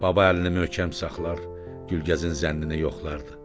Baba əlini möhkəm saxlar, Gülgəzin zənnini yoxlardı.